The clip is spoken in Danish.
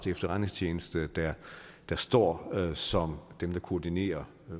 efterretningstjeneste der står som dem der koordinerer